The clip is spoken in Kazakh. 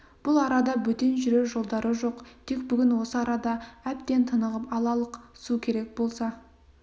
бұл арада бөтен жүрер жолдары жоқ тек бүгін осы арада әбден тынығып алалық су керек болса